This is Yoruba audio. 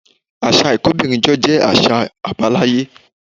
Àṣà ìkóbìnrinjọ jẹ́ àṣà àbáláyé